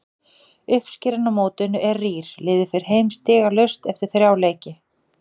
Uppskeran á mótinu er rýr, liðið fer heim stigalaust eftir þrjá leiki.